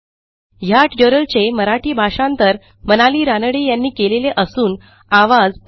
ह्या ट्युटोरियलचे मराठी भाषांतर मनाली रानडे यांनी केलेले असून आवाज